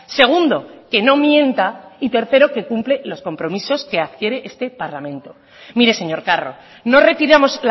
segundo que no mienta y tercero que cumpla los compromisos que adquiere este parlamento mire señor carro no retiramos